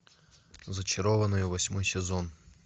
зачарованные восьмой сезон